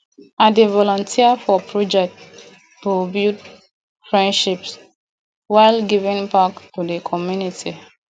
i dey volunteer for projects to build friendships while giving back to the community